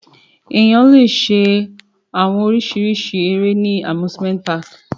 Ọkan le mu orisirisi awọn ere ni Amusement park